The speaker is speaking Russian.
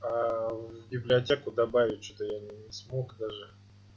а в библиотеку добавить что-то я не смог даже